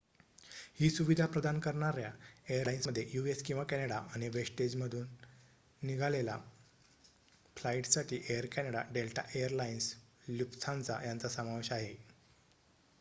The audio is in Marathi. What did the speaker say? ही सुविधा प्रदान करणार्‍या एअरलाईन्समध्ये यू.एस. किंवा कॅनडा आणि वेस्टजेटमधून निघालेल्या फ्लाईट्ससाठी Air Canada Delta Air Lines Lufthansa यांचा समावेश आहे